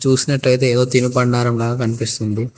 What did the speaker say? చూసినటైతే ఏదో తినుబండారంలాగా కనిపిస్తుంది.